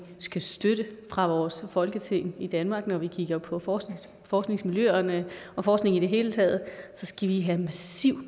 skal støtte fra vores folketing i danmark når vi kigger på på forskningsmiljøerne og forskning i det hele taget skal vi have massivt